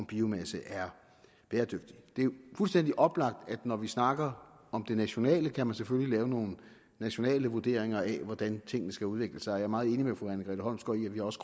biomasse er bæredygtigt det er jo fuldstændig oplagt at når vi snakker om det nationale kan man selvfølgelig lave nogle nationale vurderinger af hvordan tingene skal udvikle sig og jeg er meget enig med fru anne grete holmsgaard i at vi også